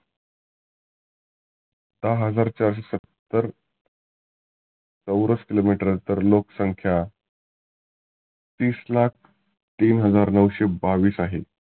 दहा हजार चारशे सत्तर चौरस किलो मिटर अंतर. लोक संख्या तीस लाख तीन हजार नऊशे बावीस आहे.